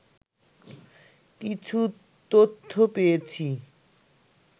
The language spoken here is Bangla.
কিছু তথ্য পেয়েছি